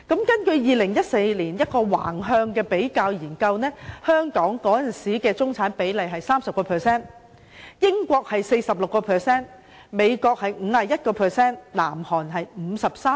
根據2014年一項橫向比較研究，香港當時的中產人口比例是 30%， 英國是 46%， 美國是 51%， 南韓則是 53%。